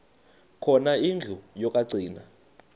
khona indlu yokagcina